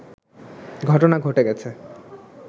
ঘটনা ঘটে গেছে